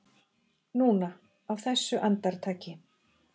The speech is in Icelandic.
Núna, á þessu andartaki.